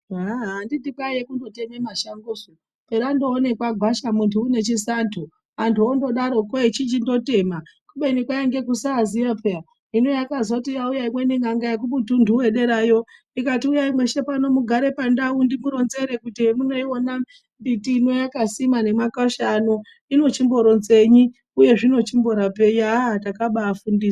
Ahaa anditi kwaiye kundoteme mashangosu perandoonekwa gwasha muntu une chisando antu ondodaroko echichindotema kubeni kwainge kusaziya peya hino yakazoti yauya imweni n'anga yekumutundu wederayo ikati uyayi mweshe pano mugare pandau ndikuronzere kuti hemunoiona mbiti ino yakasimwa nemakwasha ano inochimboronzenyi uye zvinochirapenyi aaaa takabafundiswa.